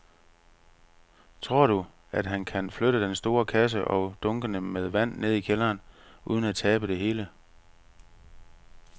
Tror du, at han kan flytte den store kasse og dunkene med vand ned i kælderen uden at tabe det hele?